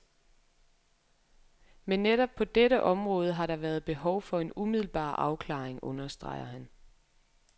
Men netop på dette område har der været behov for en umiddelbar afklaring, understreger han.